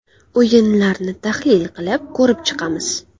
O‘yinlarni tahlil qilib, ko‘rib chiqamiz.